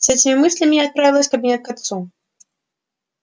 с этими мыслями я отправилась в кабинет к отцу